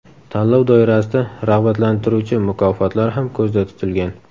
Tanlov doirasida rag‘batlantiruvchi mukofotlar ham ko‘zda tutilgan.